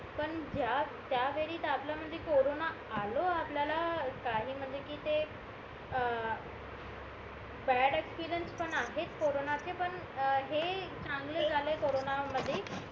पण ज्या वेळी आपल्या मधी कोरोना आलो आपल्याला काही म्हणजे कि ते अं बॅड एक्सपेरिन्स पण आहेत कोरोना चे पण हे चांगले झालाय कोरोना मध्ये